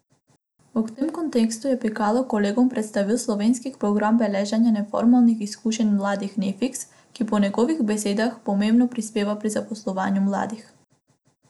V tem kontekstu je Pikalo kolegom predstavil slovenski program beleženja neformalnih izkušenj mladih Nefiks, ki po njegovih besedah pomembno prispeva pri zaposlovanju mladih.